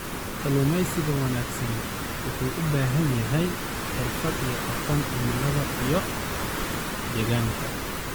Kalluumeysiga wanaagsani wuxuu u baahan yahay xirfad iyo aqoonta cimilada iyo deegaanka.